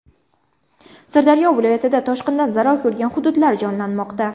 Sirdaryo viloyatida toshqindan zarar ko‘rgan hududlar jonlanmoqda.